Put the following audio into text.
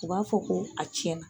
U b'a fɔ ko a tiɲɛna